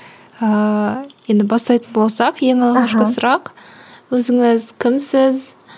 ыыы енді бастайтын болсақ ең алғашқы сұрақ өзіңіз кімсіз